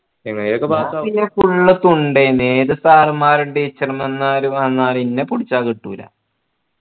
ഞാൻ പിന്നെ full തുണ്ട് ഐന് ഏത് sir മാറും teacher മാരും വന്നാലും ഇന്ന പുടിച്ചാ കിട്ടൂല